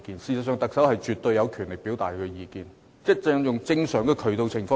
事實上，特首絕對有權表達意見，他可以循正常渠道這樣做。